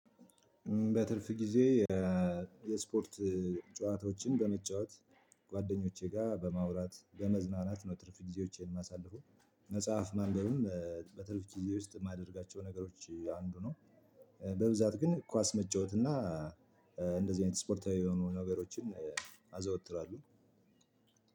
በትርፍ ጊዜ የስፖርት ጨዋታዎችን በመጫወት ጓደኞቼ ጋር በማውራት በመዝናናት ነው። ትርፍ ጊዜዎቼን ማሳልፈው መጽሐፍ ማንበብም በትርፍ ጊዜ ውስጥ የማደርጋቸው ነገሮች አንዱ ነው። በብዛት ግን ኳስ መጫወት እና እንደዚህ አይነት ስፖርታዊ የሆኑ ነገሮችን አዘወትራለሁ።